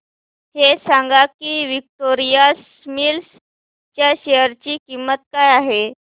हे सांगा की विक्टोरिया मिल्स च्या शेअर ची किंमत काय आहे